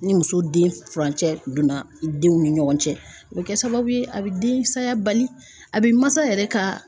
Ni muso den furancɛ donna denw ni ɲɔgɔn cɛ o be kɛ sababu ye a be densaya bali a be masa yɛrɛ ka